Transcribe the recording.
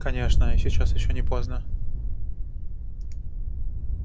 конечно и сейчас ещё не поздно